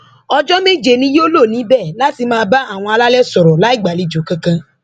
ọjọ méje ni yóò lò níbẹ láti máa bá àwọn alálẹ sọrọ láì gbàlejò kankan